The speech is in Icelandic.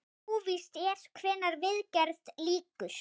Óvíst er hvenær viðgerð lýkur.